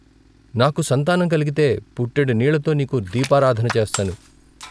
' నాకు సంతానం కలిగితే పుట్టెడు నీళ్ళతో నీకు దీపారాధన చేస్తాను.